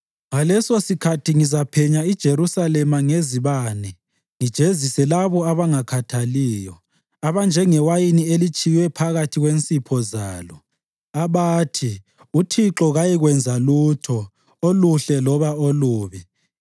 Ngalesosikhathi ngizaphenya iJerusalema ngezibane ngijezise labo abangakhathaliyo, abanjengewayini elitshiywe phakathi kwensipho zalo, abathi, ‘UThixo kayikwenza lutho, oluhle loba olubi.’